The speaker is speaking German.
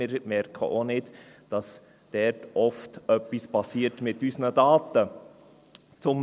Wir merken auch nicht, dass dort oft etwas mit unseren Daten passiert.